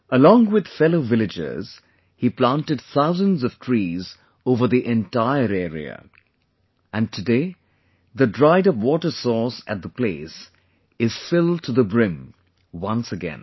Along with fellow villagers, he planted thousands of trees over the entire area...and today, the dried up water source at the place is filled to the brim once again